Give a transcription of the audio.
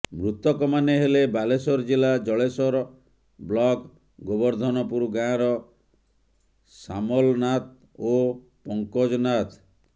ମୃତକ ମାନେ ହେଲେ ବାଲେଶ୍ୱର ଜିଲ୍ଲା ଜଳେଶ୍ୱର ବ୍ଲକ ଗୋବର୍ଦ୍ଧନପୁର ଗାଁର ସାମଲ ନାଥ ଓ ପଙ୍କଜ ନାଥ